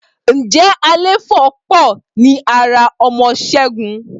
Ǹjẹ́ Àléfọ́ pọ̀ ní ara ọmọ Ṣẹ́gun